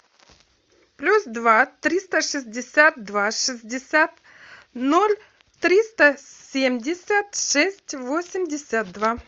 плюс два триста шестьдесят два шестьдесят ноль триста семьдесят шесть восемьдесят два